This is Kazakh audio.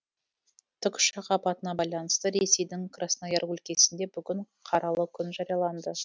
тікұшақ апатына байланысты ресейдің краснояр өлкесінде бүгін қаралы күн жарияланды